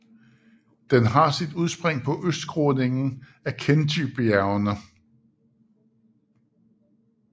Den har sit udspring på østskråningen af Khentijbjergene